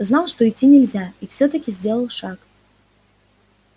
знал что идти нельзя и всё-таки сделал шаг